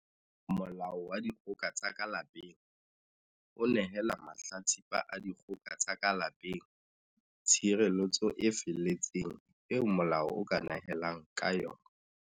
Molao wa Dikgoka tsa ka Lapeng o nehela mahla tsipa a dikgoka tsa ka lape ng tshireletso e feletseng eo molao o ka nehelang ka yona.